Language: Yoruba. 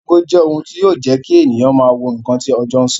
Ago jẹ́ ohun tí yọ jẹ́ kí ènìyàn máa wo ǹkan tí ọjọ́ sọ